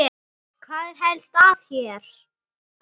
Hvað er helst að hér?